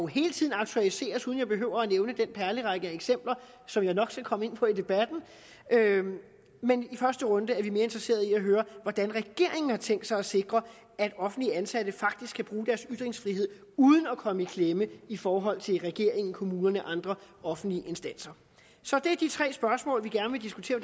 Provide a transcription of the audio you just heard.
hele tiden aktualiseres uden at jeg behøver at nævne den perlerække af eksempler som jeg nok skal komme ind på i debatten men i første runde er vi mere interesseret i at høre hvordan regeringen har tænkt sig at sikre at offentligt ansatte faktisk kan bruge deres ytringsfrihed uden at komme i klemme i forhold til regeringen kommunerne og andre offentlige instanser så det er de tre spørgsmål vi gerne vil diskutere